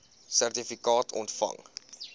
sertifikaat ontvang